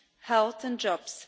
health and jobs.